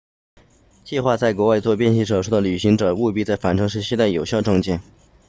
计划在国外做变性手术的旅行者务必在返程时携带有效证件